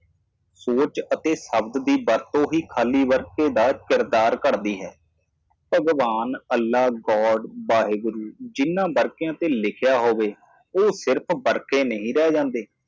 ਵਿਚਾਰ ਅਤੇ ਸ਼ਬਦ ਖਾਲੀ ਚਰਿੱਤਰ ਦੀ ਭਰਤੀ ਭਗਵਾਨ ਅੱਲ੍ਹਾ ਵਾਹਿਗੁਰੂ ਵਾਹਿ ਗੁਰੂ ਵਿੱਚ ਲਿਖੇ ਪੰਨੇ ਉਹ ਸਿਰਫ਼ ਪੈਨ ਨਹੀਂ ਹਨ